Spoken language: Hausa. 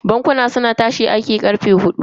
Bankuna suna tashi aiki ne da karfe hudun kowacce ranar aiki.